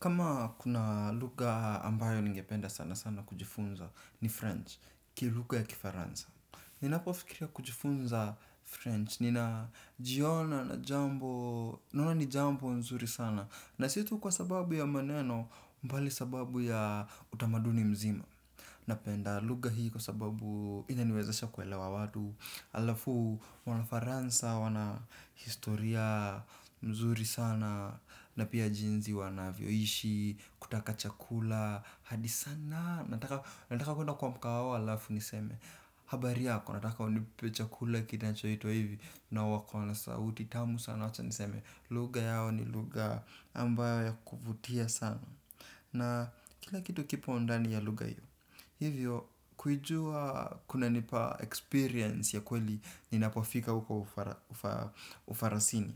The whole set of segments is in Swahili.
Kama kuna lugha ambayo ningependa sana-sana kujifunza ni French, ki luga ya kifaransa. Ninapofikiria kujifunza French, ninajiona na jambo, naona ni jambo nzuri sana. Na si tu kwa sababu ya maneno mbali sababu ya utamaduni mzima. Napenda luga hii kwa sababu inaniwezesha kuelewa watu. Alafu, wanafaransa wana historia mzuri sana. Na pia jinzi wanavyoishi, kutaka chakula hadi sana, nataka kuenda kwa mkahawa wao, alafu niseme habari yako, nataka unipe chakula kinancho itwa hivi na wako wana sauti, tamu sana wacha niseme luga yao ni luga ambayo ya kuvutia sana na kila kitu kipo undani ya luga hiyo. Hivyo, kujua kunanipa experience ya kweli ninapofika uko ufarasini.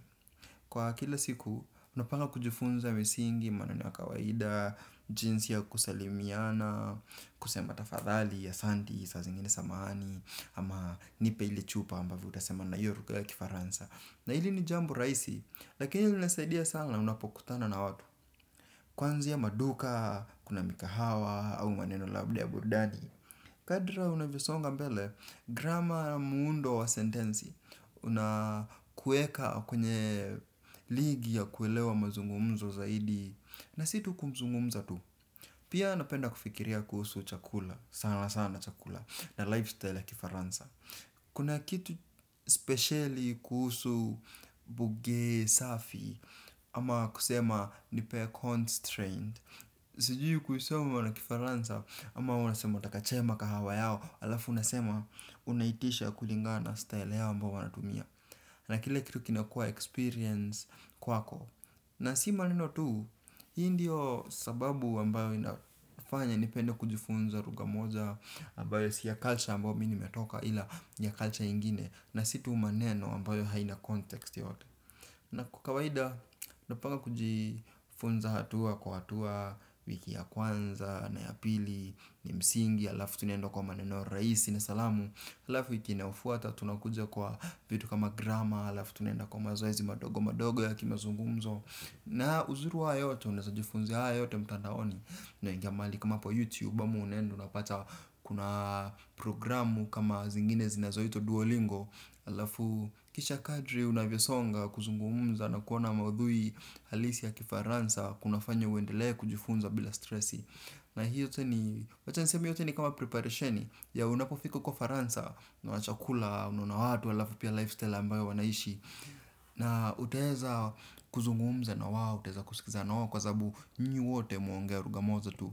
Kwa kila siku, unapanga kujifunza misingi, maneno ya kawaida, jinsi ya kusalimiana, kusema tafadhali asanti, saa zingine samahani, ama nipe ili chupa ambavyo utasema na hiyo lugha ya kifaransa. Na hili ni jambo raisi, lakini linasaidia sana unapokutana na watu kwanzia maduka, kuna mikahawa, au maneno labda ya burudani. Kadra unavyosonga mbele, grama muundo wa sentensi unakueka kwenye ligi ya kuelewa mazungumzo zaidi na si tu kumzungumza tu pia napenda kufikiria kuhusu chakula, sana sana chakula na lifestyle ya kifaransa kuna kitu speciali kuhusu buge safi ama kusema nipee constraint sijui kuisoma na kifaransa ama unasema nataka chema kahawa yao alafu unasema unaitisha kulingana style yao ambao wanatumia na kile kitu kinakua experience kwako na si maneno tu, hii ndiyo sababu ambayo inafanya nipende kujifunza luga moja ambayo si ya culture ambayo mimi nimetoka ila ya culture ingine na si tu maneno ambayo haina context yote na kwa kawaida napanga kujifunza hatua kwa hatua wiki ya kwanza na ya pili ni msingi alafu tunaendakwa maneno raisi ni salamu alafu wiki inayofuata tunakuja kwa vitu kama grama alafu tunaenda kwa mazoezi madogo madogo ya kimazungumzo na uzuri wa haya yote unaza jifunza haya yote mutandaoni unaingia mahali kama hapo yutibu ama unaenda unapata kuna programu kama zingine zinazo itwa duolingo alafu kisha kadri unavyesonga kuzungumza na kuona maudhui halisi ya kifaransa kunafanya uendele kujifunza bila stressi na hii yote ni wacha niseme hii yote ni kama preparationi unapofiko kwa ufaransa unaona chakula unaona watu alafu pia lifestyle ambayo wanaishi na utaeza kuzungumza na wao, utseza kusikizana wao kwa sabubu nyinyi wote mwaongea luga moja tu.